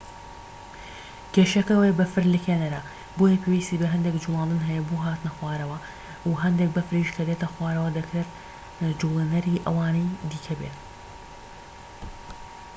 کێشەکە ئەوەیە بەفر لکێنەرە بۆیە پێویستی بەهەندێک جوڵاندن هەیە بۆ هاتنە خوارەوە و هەندێک بەفریش کە دێتە خوارەوە دەکرێت جووڵێنەری ئەوانی دیکە بێت